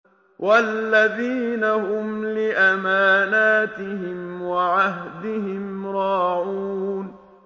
وَالَّذِينَ هُمْ لِأَمَانَاتِهِمْ وَعَهْدِهِمْ رَاعُونَ